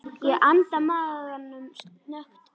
Ég anda maganum snöggt inn.